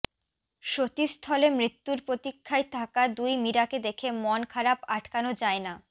সতীস্থলে মৃত্যুর প্রতীক্ষায় থাকা দুই মীরাকে দেখে মন খারাপ আটকানো যায় না